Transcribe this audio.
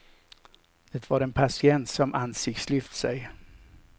Det var en patient som ansiktslyft sig.